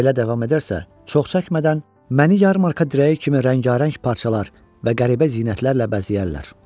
Belə davam edərsə, çox çəkmədən məni yar markı dirəyi kimi rəngarəng parçalar və qəribə zinətlərlə bəzəyərlər.